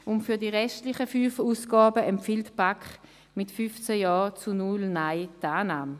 Für die restlichen fünf Ausgaben empfiehlt sie Ihnen mit 15 Ja- zu 0 Nein-Stimmen die Annahme.